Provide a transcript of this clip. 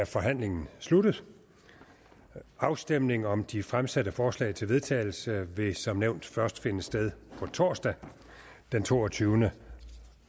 er forhandlingen sluttet afstemning om de fremsatte forslag til vedtagelse vil som nævnt først finde sted på torsdag den toogtyvende